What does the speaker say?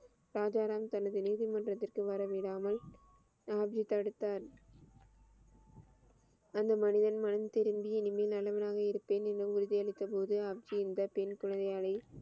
ராஜா ராம் தனது நீதி மன்றத்திற்கு வரவிடாமல் ஆம்சி தடுத்தார் அந்த மனிதன் மனம் திரும்பி நிம்மியலவாக இருப்பேன் என உறுதி அளித்த போது அவ்வின்பத்தில்